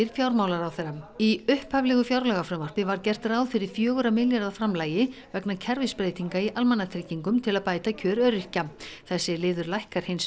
fjármálaráðherra í upphaflegu fjármálafrumvarpi var gert ráð fyrir fjögurra milljarða framlagi vegna kerfisbreytinga í almannatryggingum til að bæta kjör öryrkja þessi liður lækkar hins